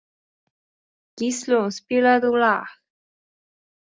Gíslunn, spilaðu lag.